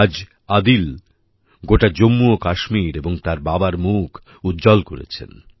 আজ আদিল গোটা জম্মু ও কাশ্মীর এবং তার বাবার মুখ উজ্জ্বল করেছেন